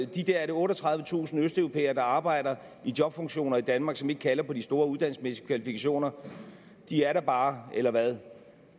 de der er det otteogtredivetusind østeuropæere der arbejder i jobfunktioner i danmark som ikke kalder på de store uddannelsesmæssige kvalifikationer er der bare eller hvad